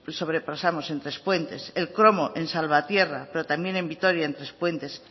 sobrepasamos en trespuentes el cromo en salvatierra pero también en vitoria en trespuentes